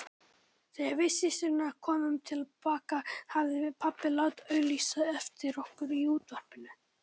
Þegar við systurnar komum til baka hafði pabbi látið auglýsa eftir okkur í útvarpinu.